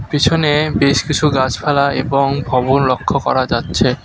পিছনে বেশ কিছু গাছপালা এবং ভবন লক্ষ্য করা যাচ্ছে।